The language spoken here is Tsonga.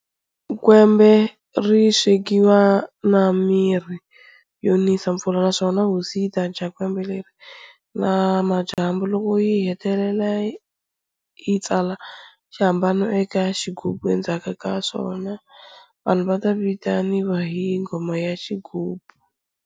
Kwembe ri swekiwa na mirhi yo nisa mpfula, naswona hosi yi ta dya kwembe leri na madyambu. Loko yi hetile yi tsala xihambano eka xighubhu, endzhaku ka swona vanhu vata vitaniwa hi nghoma ya xighubu.